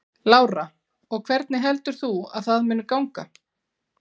Lára: Og hvernig heldur þú að það muni ganga?